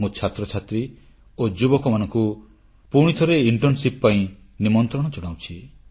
ମୁଁ ଛାତ୍ରଛାତ୍ରୀ ଓ ଯୁବକମାନଙ୍କୁ ପୁଣିଥରେ ଏହି ଇଣ୍ଟର୍ଣ୍ଣସିପ ପାଇଁ ନିମନ୍ତ୍ରଣ ଜଣାଉଛି